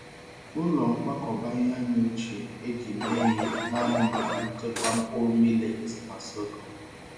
Ụlọ nkwakọba ihe anyị ochie e ji mee ihe naanị maka nchekwa mkpụrụ millet na sorghum.